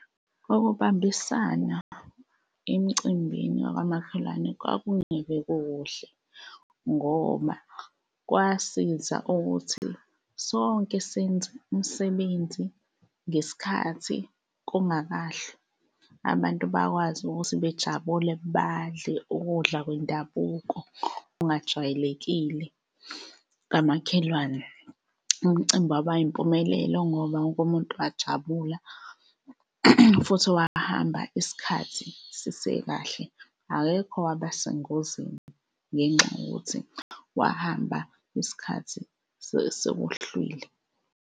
Ukubambisana emcimbini wakamakhelwane kwakungeve kukuhle ngoba, kwasiza ukuthi sonke senze umsebenzi ngesikhathi kungakahlwa, abantu bakwazi ukuthi bejabule, badle ukudla kwendabuko okungajwayelekile kamakhelwane. Umcimbi waba yimpumelelo ngoba wonke umuntu wajabula futhi wahamba isikhathi sisekahle, akekho owaba sengozini ngenxa yokuthi wahamba isikhathi sekuhlwile.